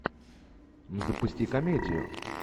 запусти комедию